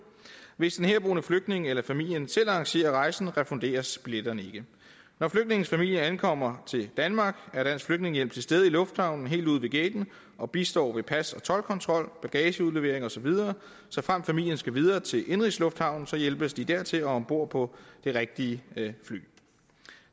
hvis den herboende flygtning eller familien selv arrangerer rejsen refunderes udgiften billetterne ikke når flygtningens familie ankommer til danmark er dansk flygtningehjælp til stede i lufthavnen helt ude ved gaten og bistår ved pas og toldkontrol bagageudlevering og så videre såfremt familien skal videre til indenrigslufthavnen hjælpes de dertil og om bord på det rigtige fly